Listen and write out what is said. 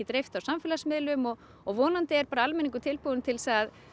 dreift á samfélagsmiðlum og og vonandi er almenningur bara tilbúinn til þess að